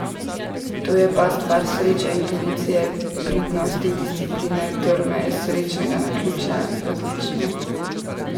To je pa stvar sreče, intuicije, pridnosti, discipline, trme, srečnega naključja, različno.